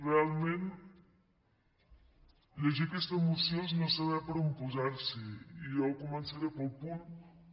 realment llegir aquesta moció és no saber per on posar s’hi i jo començaré pel punt un